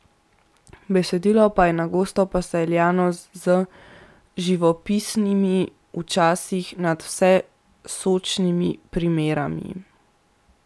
Besedilo pa je na gosto posejano z živopisnimi, včasih nadvse sočnimi primerami.